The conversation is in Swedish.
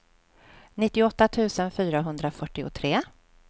nittioåtta tusen fyrahundrafyrtiotre